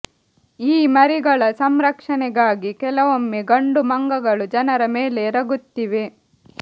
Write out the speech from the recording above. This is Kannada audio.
ಈ ಮರಿಗಳ ಸಂರಕ್ಷಣೆಗಾಗಿ ಕೆಲವೊಮ್ಮೆ ಗಂಡು ಮಂಗಗಳು ಜನರ ಮೇಲೆ ಎರಗುತ್ತಿವೆ